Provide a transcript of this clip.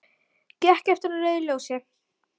Gekk yfir á rauðu ljósi